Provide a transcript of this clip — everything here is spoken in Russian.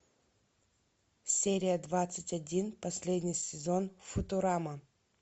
серия двадцать один последний сезон футурама